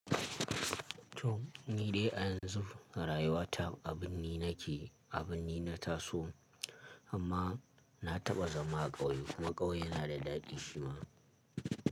To, ni dai a yanzu rayuwa ta abin nake, abin na taso amma na taɓa zama a ƙauye kuma ƙauye yana da daɗi shi ma.